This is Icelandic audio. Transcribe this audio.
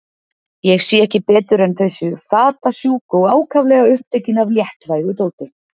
Ég sé ekki betur en þau séu fatasjúk og ákaflega upptekin af léttvægu dóti.